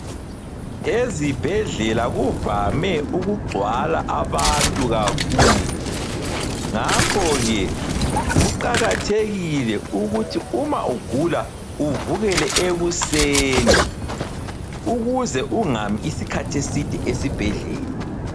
Ezibhedlela kuvame ukugcwala abantu kakhulu, ngakho ke kuqakathekile ukuthi uma ugula uvukele ekuseni ukuze ungami isikhathi eside esibhedlela.